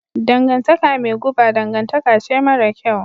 Dangantaka mai guba dangantaka ce mara kyau.